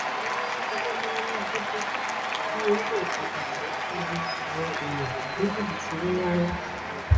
wọn ní níṣẹ ló máa ń díbọn bíi oníṣòwò pàtàkì láti lu àwọn èèyàn ní jìbìtì owó ńlá ńlá